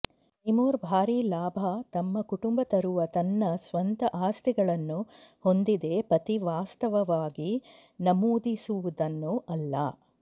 ತೈಮೂರ್ ಭಾರಿ ಲಾಭ ತಮ್ಮ ಕುಟುಂಬ ತರುವ ತನ್ನ ಸ್ವಂತ ಆಸ್ತಿಗಳನ್ನು ಹೊಂದಿದೆ ಪತಿ ವಾಸ್ತವವಾಗಿ ನಮೂದಿಸುವುದನ್ನು ಅಲ್ಲ